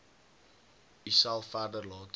uself verder laat